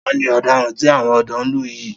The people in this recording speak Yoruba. Ta ni ọ̀daràn tí àwọn ọ̀dọ́ ń lù yìí?